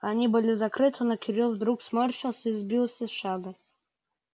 они были закрыты но кирилл вдруг сморщился и сбился с шага